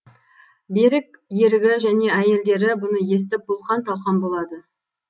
берік ерігі және әйелдері бұны естіп бұлқан талқан болады